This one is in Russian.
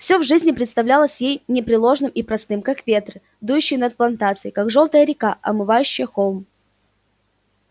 все в жизни представлялось ей непреложным и простым как ветры дующие над плантацией как жёлтая река омывающая холм